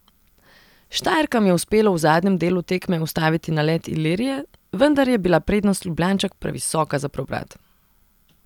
Štajerkam je uspelo v zadnjem delu tekme ustaviti nalet Ilirije, vendar je bila prednost Ljubljančank previsoka za preobrat.